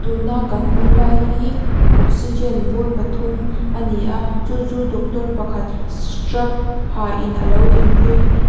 tuna ka hmuh lai hi oxygen bur pathum ani a chu chu doctor pakhat strap ha in alo dingpui.